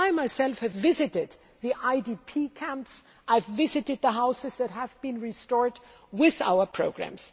I myself have visited the IDP camps and I have visited the houses that have been restored with our programmes.